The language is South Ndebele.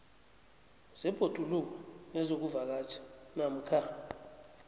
zebhoduluko nezokuvakatjha namkha